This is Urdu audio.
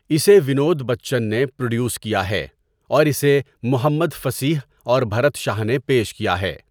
اسے ونود بچن نے پروڈیوس کیا ہے اور اسے محمد فصیح اور بھرت شاہ نے پیش کیا ہے۔